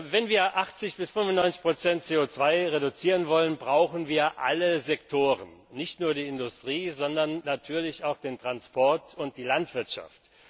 Wenn wir 80 bis 95 CO 2 reduzieren wollen, brauchen wir alle Sektoren, nicht nur die Industrie, sondern natürlich auch den Transport und die Landwirtschaft.